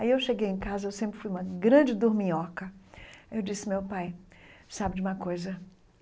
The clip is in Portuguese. Aí eu cheguei em casa, eu sempre fui uma grande durminhoca, eu disse, meu pai, sabe de uma coisa?